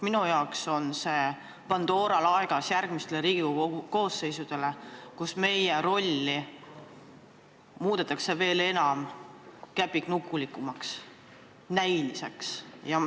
Minu arvates on see Pandora laegas järgmistele Riigikogu koosseisudele, kus meie rolli veel käpiknukulikumaks, näilisemaks muudetakse.